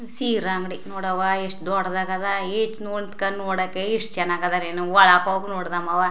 ಸೀರಾ ಅಂಗಡಿ ನೋಡ್ ಅವ್ವ ಎಷ್ಟ ದೊಡ್ಡದಾಗದ ಈಚ್ ನೊಟ್ ನಿಂತ್ಕಂಡ್ ನೋಡಕ್ಕೆ ಇಷ್ಟ್ ಚನ್ನಾಗ್ ಅದರಿ ಒಳಗ್ ಹೋಗಿ ನೋಡ್ ದಮವ.